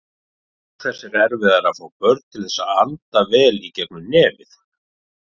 Auk þess er erfiðara að fá börn til þess að anda vel í gegnum nefið.